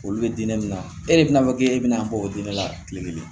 Olu bɛ diinɛ min na e de bɛna fɔ k'e bɛna bɔ o diinɛ la kile kelen